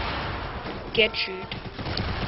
getrude